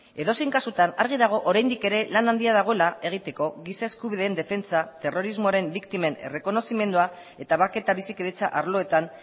edozein kasutan argi dago oraindik ere lan handia dagoela egiteko giza eskubideen defentsa terrorismoaren biktimen errekonozimendua eta bake eta bizikidetza arloetan